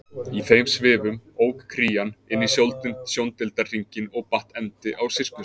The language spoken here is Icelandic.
Í þeim svifum ók Krían inn í sjóndeildarhringinn og batt endi á sirkusinn.